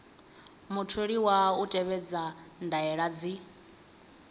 mutholiwa u tevhedza ndaela dzi